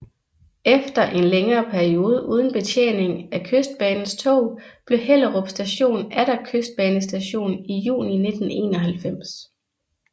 Efter en længere periode uden betjening af Kystbanens tog blev Hellerup Station atter Kystbanestation i juni 1991